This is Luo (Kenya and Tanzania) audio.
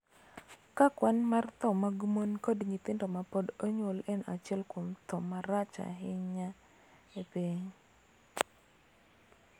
Ka kwan mar tho mag mon kod nyithindo ma pod onyuol en achiel kuom tho ma rach ahinya e piny.